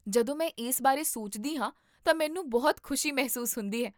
ਜਦੋਂ ਮੈਂ ਇਸ ਬਾਰੇ ਸੋਚਦੀ ਹਾਂ ਤਾਂ ਮੈਨੂੰ ਬਹੁਤ ਖੁਸ਼ੀ ਮਹਿਸੂਸ ਹੁੰਦੀ ਹੈ